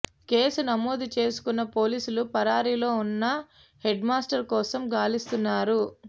case నమోదు చేసుకున్న పోలీసులు పరారీలో ఉన్న హెడ్మాస్టర్ కోసం గాలిస్తున్నారు